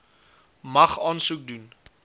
mag aansoek doen